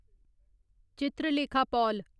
Chitralekha Paul